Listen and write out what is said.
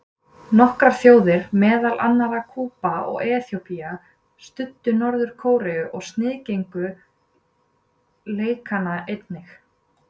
Nokkrar þjóðir, meðal annarra Kúba og Eþíópía, studdu Norður-Kóreu og sniðgengu leikana einnig.